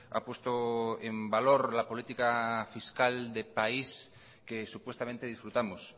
ha puesto en valor la política fiscal de país que supuestamente disfrutamos